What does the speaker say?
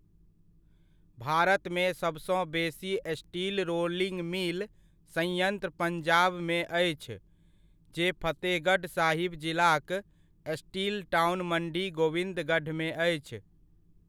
भारतमे सबसँ बेसी स्टील रोलिंग मिल संयंत्र पंजाबमे अछि, जे फतेहगढ़ साहिब जिलाक 'स्टील टाउन' मंडी गोविंदगढ़मे अछि।